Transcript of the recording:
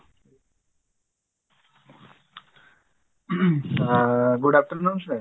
ଅ good afternoon sir